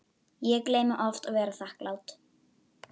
Ég gleymi oft að vera þakklát